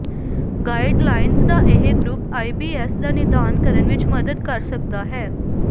guidelines ਦਾ ਇਹ group I B S ਦਾ ਨਿਦਾਨ ਕਰਨ ਵਿੱਚ ਮਦਦ ਕਰ ਸਕਦਾ ਹੈ